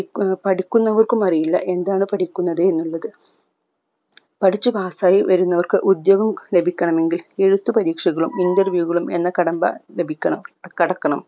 പഠിക്കുന്ന പഠിക്കുന്നവർക്കും അറിയില്ല എന്താണ് പഠിക്കുന്നത് എന്നുള്ളത് പഠിച്ച് pass ആയി വരുന്നവർക്ക് ഉദ്യോഗം ലഭിക്കണമെങ്കിൽ എഴുത്ത് പരീക്ഷകളും interview കളും എന്ന കടമ്പ ലഭിക്കണം കടക്കണം